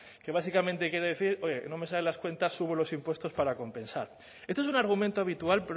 que básicamente quiere decir oye no me salen las cuentas sube los impuestos para compensar esto es un argumento habitual